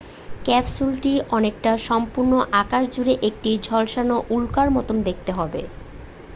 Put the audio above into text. ক্যাপসুলটি অনেকটা সম্পূর্ণ আকাশ জুড়ে একটি ঝলসানো উল্কার মতো দেখতে হবে